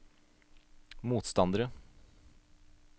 motstandere